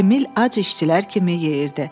Emil ac işçilər kimi yeyirdi.